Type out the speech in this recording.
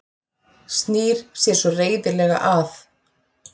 Snýr sér svo reiðilega að